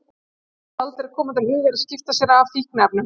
Honum mundi aldrei koma til hugar að skipta sér af fíkniefnum!